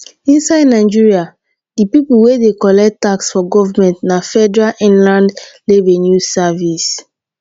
inside nigeria di pipo wey dey collect tax for government na federal inland revenue service